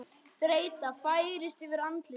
Þreyta færist yfir andlit hans.